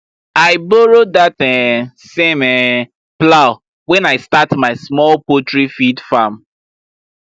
i borrow that um same um plow when i start my small poultry feed farm